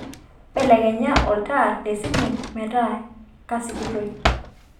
belekenya olntaa lesiting meeta kasikitoi